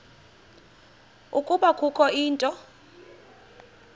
ukuba kukho into